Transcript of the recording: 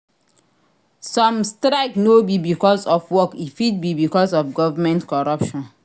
Some strike no be because of work e fit be because of government corruption